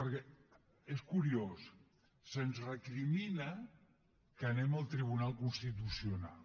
perquè és curiós se’ns recrimina que anem al tribunal constitucional